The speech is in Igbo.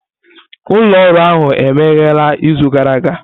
Ụlọ ọrụ ahụ emeghere izu gara aga?